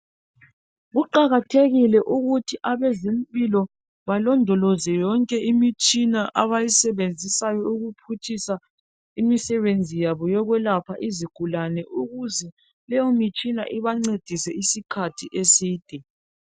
Kuqakathekile ukuthi abazempilo belondoloze yonke imitshina abayisebenzisayo ukuphutshisa imisebenzi yabo yokwelapha izigulane ukuze leyo mitshina ibancedise isikhathi eside.